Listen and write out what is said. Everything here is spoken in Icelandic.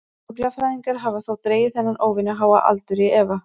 Fuglafræðingar hafa þó dregið þennan óvenju háa aldur í efa.